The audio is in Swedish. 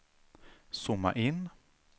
zooma in